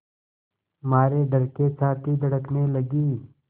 मारे डर के छाती धड़कने लगी